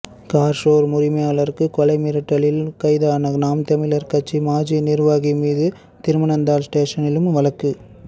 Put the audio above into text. car showroom உரிமையாளருக்கு கொலை மிரட்டலில் கைதான நாம் தமிழர் கட்சி மாஜி நிர்வாகி மீது திருப்பனந்தாள் ஸ்டேஷனிலும் வழக்கு